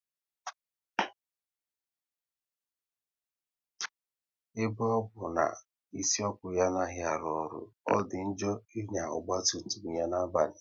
Ebe ọ bụ na isi ọkụ ya anaghị arụ ọrụ, ọ dị njọ ịnya ọgba tum tum ya na-abalị